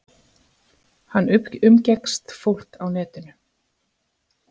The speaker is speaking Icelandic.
Hann umgekkst fólk á netinu.